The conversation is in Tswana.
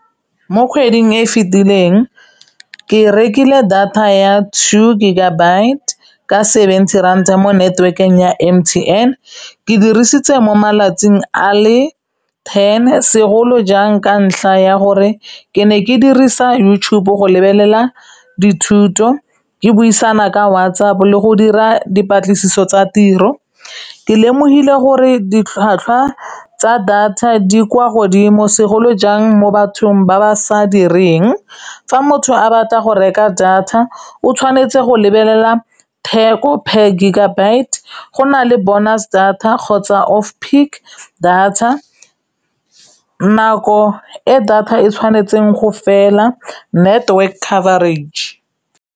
Mo kgweding e e fetileng ke rekile data ya two gigabyte ka seventy ranta mo network-eng ya M_T_N ke dirisitse mo malatsing a le ten segolo jang ka ntlha ya gore ke ne ke dirisa YouTube go lebelela dithuto ke buisana ka WhatsApp le go dira dipatlisiso tsa tiro ke lemogile gore ditlhwatlhwa tsa data di kwa godimo segolo jang mo bathong ba ba sa direng fa motho a batla go reka data o tshwanetse go lebelela theko per gigabyte go nale bonus data kgotsa off peak data nako e data e tshwanetseng go fela network coverage.